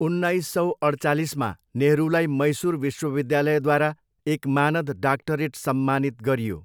उन्नाइस सौ अड्चालिसमा, नेहरूलाई मैसूर विश्वविद्यालयद्वारा एक मानद डाक्टरेट सम्मानित गरियो।